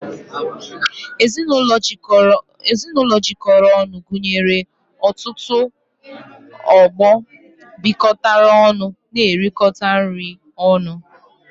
Ezinụlọ jikọrọ ọnụ gụnyere ọtụtụ ọgbọ bịkotara ọnụ n'erikota nri ọnụ